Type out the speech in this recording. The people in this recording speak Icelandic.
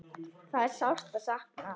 Það er sárt að sakna.